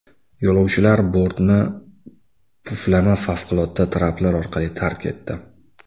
Yo‘lovchilar bortni puflama favqulodda traplar orqali tark etdi.